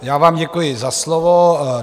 Já vám děkuji za slovo.